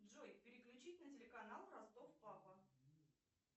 джой переключить на телеканал ростов папа